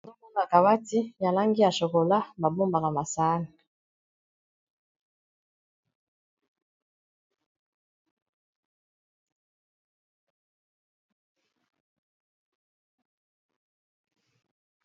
Tozomona kabati yalangi ya chokola babombaka masana